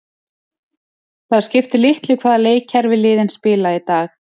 Það skiptir litlu hvaða leikkerfi liðin spila í dag.